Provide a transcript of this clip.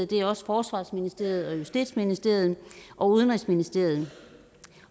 det er også forsvarsministeriet justitsministeriet og udenrigsministeriet